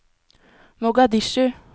Mogadishu